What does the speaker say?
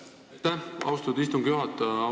Aitäh, austatud istungi juhataja!